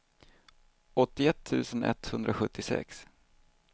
åttioett tusen etthundrasjuttiosex